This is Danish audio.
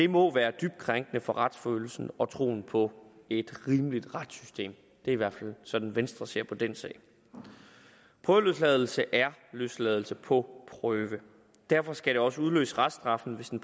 må være dybt krænkende for retsfølelsen og troen på et rimeligt retssystem det er i hvert fald sådan venstre ser på den sag prøveløsladelse er løsladelse på prøve derfor skal det også udløse reststraffen hvis den